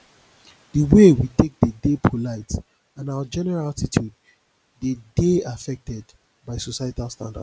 di wey we take dey de polite and our general attitude dey de affected by societal standards